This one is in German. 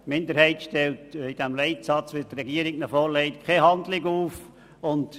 Die Minderheit stellt im Leitsatz, den die Regierung vorlegt, keine Handlung fest.